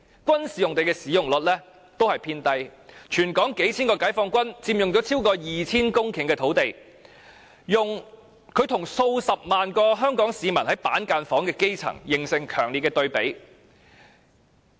軍事用地的使用率亦偏低，全港數千名解放軍，佔用超過 2,000 公頃土地，與數十萬名居於板間房的基層市民，形成強烈對比。